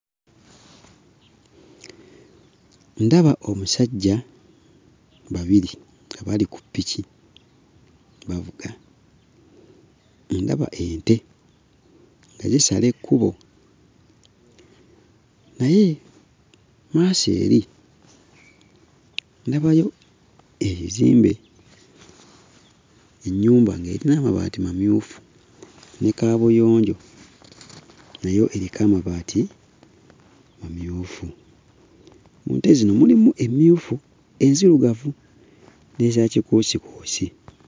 Ndaba omusajja babiri abali ku piki bavuga, ndaba ente nga zisala ekkubo. Naye mu maaso eri ndabayo ebizimbe, ennyumba ng'erina amabaati mamyufu ne kaabuyonjo nayo eriko amabaati mamyufu. Mu nte zino mulimu emmyufu, enzirugavu n'eza kikuusikuusi.